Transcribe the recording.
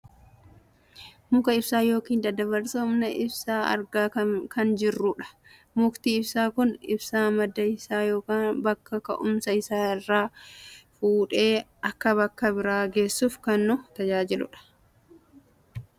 Muka ibsaa yookaan daddabarsa humna ibsaa argaa kam jirru dha. Mukti ibsaa kun ibsaa madda isaa yookaan bakka ka'umsa isaa irraa fuudhee akka bakka biraa geessuuf kan nu tajaajilu dha.